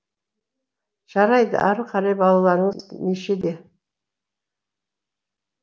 жарайды ары қарай балаларыңыз нешеде